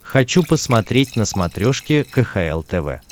хочу посмотреть на смотрешке кхл тв